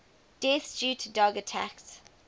deaths due to dog attacks